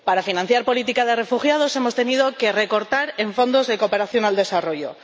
Para financiar la política de los refugiados hemos tenido que recortar en fondos de cooperación al desarrollo.